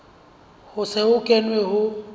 ho se ho kenwe ho